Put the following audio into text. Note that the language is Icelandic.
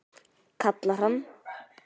kallar hann.